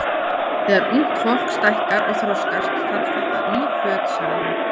Þegar ungt fólk stækkar og þroskast, þarf það ný föt sagði hann.